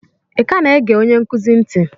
ị ka na-ege onye nkuzi ntị?